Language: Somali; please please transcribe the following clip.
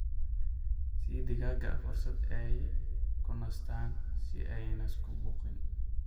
Sii digaaga fursad ay ku nastaan ??si aanay isku buuqin.